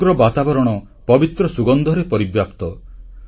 ସମଗ୍ର ବାତାବରଣ ପବିତ୍ର ସୁଗନ୍ଧରେ ପରିବ୍ୟାପ୍ତ